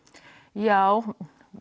já